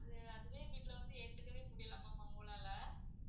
அது அதுலே வீட்ல வந்து ஏத்துக்கவே முடியல ma'am அவங்களால